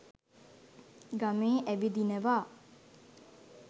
ගමේ ඇවිදිනවා